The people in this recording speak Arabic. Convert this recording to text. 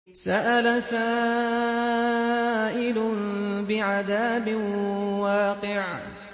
سَأَلَ سَائِلٌ بِعَذَابٍ وَاقِعٍ